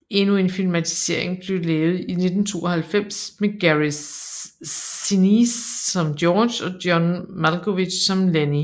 Endnu en filmatisering blev lavet i 1992 med Gary Sinise som George og John Malkovich som Lennie